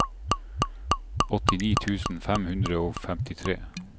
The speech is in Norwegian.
åttini tusen fem hundre og femtitre